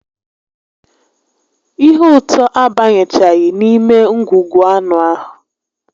Ihe ụtọ abanyechaghị n'ime ngwugwu anụ ahụ